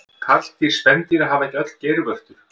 Karldýr spendýra hafa ekki öll geirvörtur.